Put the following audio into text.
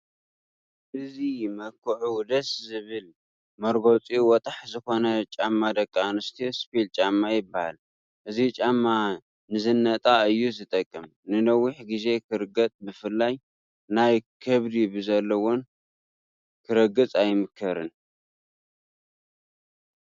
እዚ መክዑ ደስ ዝብል መርገፂኡ ወጣሕ ዝኮነ ጫማ ደቂ ኣንስትዮ ስፒል ጫማ ይበሃል፡፡ እዚ ጫማ ንዝነጣ እዩ ዝጠቅም፡፡ ንነዊሕ ግዜ ክርገፅ ብፍላይ ናይ ከብዲ ብዘለወን ክርገፅ ኣይምከርን፡፡